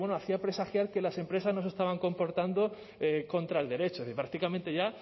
hacía presagiar que las empresas no se estaban comportando contra el derecho y prácticamente ya